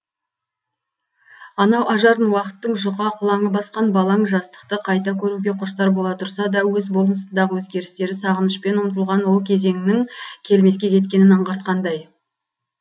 анау ажарын уақыттың жұқа қылаңы басқан балаң жастықты қайта көруге құштар бола тұрса да өз болмысындағы өзгерістері сағынышпен ұмтылған ол кезеңнің келмеске кеткенін аңғартқандай